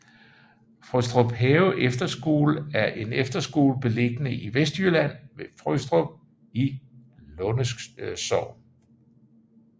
Frøstruphave Efterskole er en efterskole beliggende i Vestjylland ved Frøstrup i Lunde Sogn